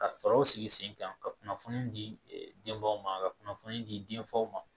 Ka fɛɛrɛw sigi sen kan ka kunnafoni di denbaw ma ka kunnafoni di denfaw ma